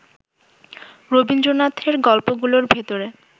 রবীন্দ্রনাথের গল্পগুলোর ভেতরে